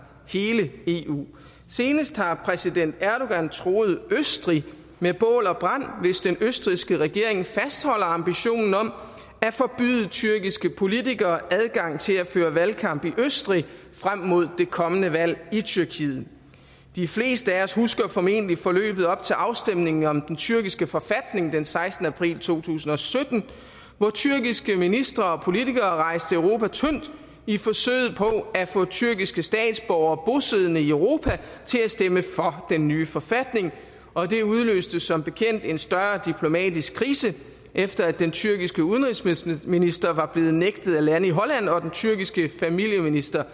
hele eu senest har præsident erdogan truet østrig med bål og brand hvis den østrigske regering fastholder ambitionen om at forbyde tyrkiske politikere adgang til at føre valgkamp i østrig frem mod det kommende valg i tyrkiet de fleste af os husker formentlig forløbet op til afstemningen om den tyrkiske forfatning den sekstende april to tusind og sytten hvor tyrkiske ministre og politikere rejste europa tyndt i forsøget på at få tyrkiske statsborgere bosiddende i europa til at stemme for den nye forfatning og det udløste som bekendt en større diplomatisk krise efter at den tyrkiske udenrigsminister var blevet nægtet at lande i holland og den tyrkiske familieminister